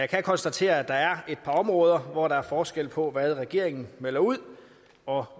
kan konstatere at der er et par områder hvor der er forskel på hvad regeringen melder ud og